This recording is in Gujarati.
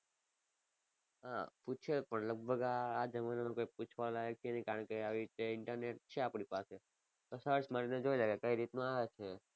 હા પૂછે પણ લગભગ આ આ જમાના માં કોઈ પૂછવા લાયક છે નહીં કારણ કે આવી રીતે internet છે આપણી પાસે તો search મારી ને જોઈ લે કે કઈ રીતનું આવે છે.